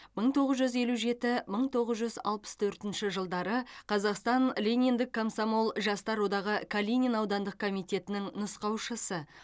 мың тоғыз жүз елу жеті мың тоғыз жүз алпыс төртінші жылдары қазақстан лениндік комсомол жастар одағының калинин аудандық комитетінің нұсқаушысы